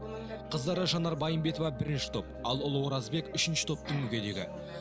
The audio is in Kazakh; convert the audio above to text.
қыздары жанар байымбетова бірінші топ ал ұлы оразбек үшінші топтың мүгедегі